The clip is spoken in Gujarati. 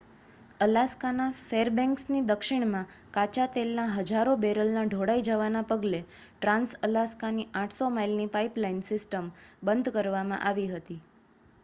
અલાસ્કાના ફેરબેન્ક્સની દક્ષિણમાં કાચા તેલના હજારો બેરલના ઢોળાઈ જવાના પગલે ટ્રાંસ-અલાસ્કાની 800 માઇલની પાઇપલાઇન સિસ્ટમ બંધ કરવામાં આવી હતી